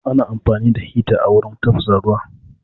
Ana amfani da hita wurin tafasa ruwa